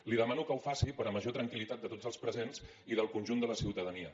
li demano que ho faci per a major tranquil·litat de tots els presents i del conjunt de la ciutadania